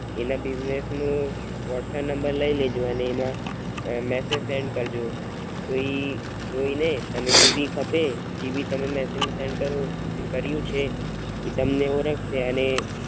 એના બીજનેસ નુ WhatsApp number લાઈલેજોઅને સેેંડ મેસેજ કરજો તો ઈ જોઈને તમે જે ભી Messege send કર્યું છે એ તમને ઓરખશે અને.